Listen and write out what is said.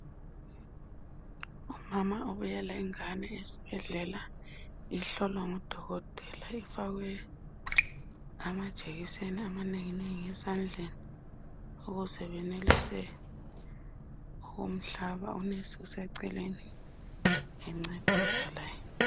Umama ubuye lengane esibhedlela ihlolwa ngudokotela ifakwe amajekiseni amanenginengi esandleni ukuze benelise ukumhlaba unesi useceleni encedisa laye.